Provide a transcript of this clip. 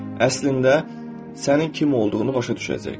Əslində sənin kim olduğunu başa düşəcək.